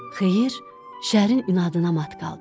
Xeyir, şərin inadına mat qaldı.